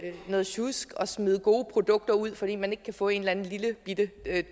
noget sjusk at smide gode produkter ud fordi man ikke kan få en eller anden lillebitte